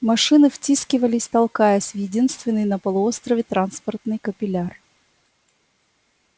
машины втискивались толкаясь в единственный на полуострове транспортный капилляр